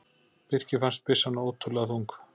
Birki fannst byssan ótrúlega þung.